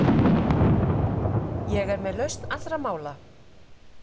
Ég er með lausn mála!